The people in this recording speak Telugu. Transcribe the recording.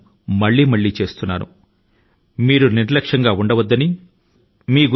మరి నేను పదే పదే ఇలాగ కోరేది ఏమిటి అంటే